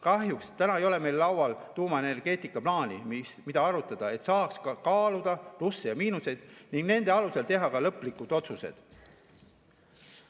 Kahjuks täna ei ole meil laual tuumaenergeetikaplaani, mida arutada, et saaks kaaluda plusse ja miinuseid ning nende alusel teha lõplikud otsused.